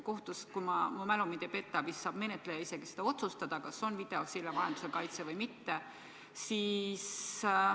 Kohtus, kui mu mälu mind ei peta, saab menetleja otsustada, kas kaitse toimub videosilla vahendusel või mitte.